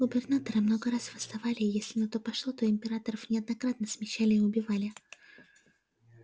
губернаторы много раз восставали и если на то пошло то и императоров неоднократно смещали и убивали